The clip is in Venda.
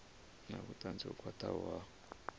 na vhutanzi ho khwathaho ha